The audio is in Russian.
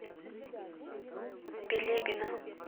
билибино